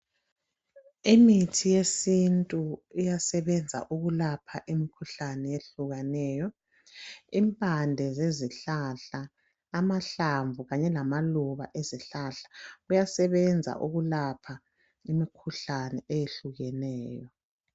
Imithi yesintu iyasebenza ukulapha imkhuhlane ehlukahlukeneyo impande zezihlahla amahlamvu kanye lamaluba ezihlahla kuyasebenza ukulapha imikhuhlane eyehlukeneyo.